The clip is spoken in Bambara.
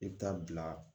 I bɛ taa bila